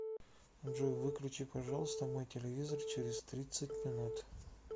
джой выключи пожалуйста мой телевизор через тридцать минут